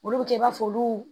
Olu bɛ kɛ i b'a fɔ olu